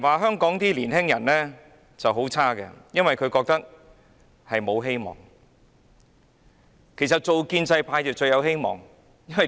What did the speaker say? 香港的年輕人覺得沒有希望，但建制派最有希望，為甚麼？